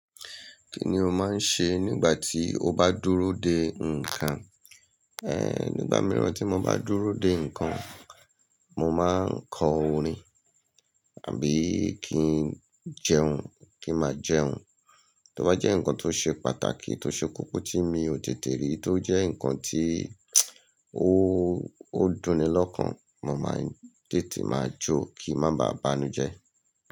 Kí ni o máa ń ṣe nígbà tí o bá dúró de ǹkan? Nígbà mìíràn tí mo bá dúró de nǹkan, mo máa ń kọ orin àbí kí n jẹun kí ma jẹun. Tí ó bá jẹ́ nǹkan tó ṣe pàtàkì tó ṣe kókó tí mi ò tètè rí, tó jẹ́ nǹkan tí ó, ó dùnni lọ́kàn. Mo máa ń tètè máa jó kí má ba bánú jẹ.